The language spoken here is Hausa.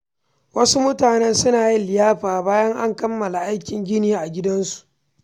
Wasu mutane suna yin liyafa bayan an kammala aikin gini a gidansu.